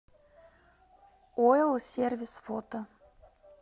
ойл сервис фото